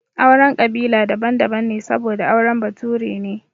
Auren kabila daban daban ne saboda angon bature ne